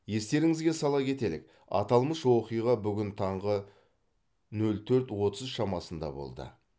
естеріңізге сала кетелік аталмыш оқиға бүгін таңғы нөл төрт отыз шамасында болды